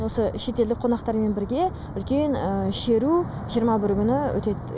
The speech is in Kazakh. осы шетелдік қонақтармен бірге үлкен шеру жиырма бірі күні өтеді